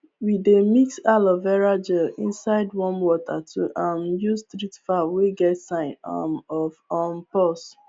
we dey mix aloe vera gel inside warm water to um use treat fowl wey get sign um of um pox